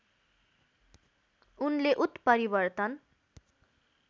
उनले उत्परिवर्तन